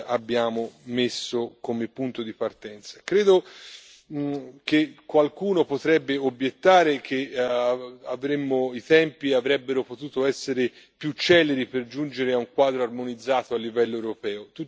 abbiamo messo come punto di partenza. Credo che qualcuno potrebbe obiettare che i tempi avrebbero potuto essere più celeri per giungere a un quadro armonizzato a livello europeo.